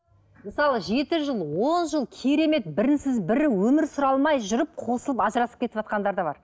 мысалы жеті жыл он жыл керемет бірінсіз бірі өмір сүре алмай жүріп қосылып ажырасып кетіватқандар да бар